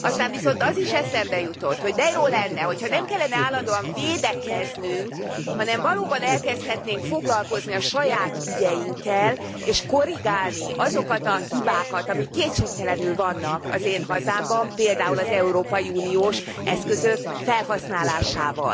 Aztán viszont az is eszembe jutott, hogy de jó lenne, hogy ha nem kellene állandóan védekeznünk, hanem valóban elkezdhetnénk foglalkozni a saját ügyeinkkel, és korrigálni azokat a hibákat, amik kétségtelenül vannak az én hazámban, például az európai uniós eszközök felhasználásával.